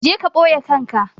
Je ka ɓoye kanka!